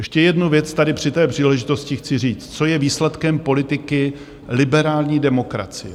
Ještě jednu věc tady při té příležitosti chci říct, co je výsledkem politiky liberální demokracie.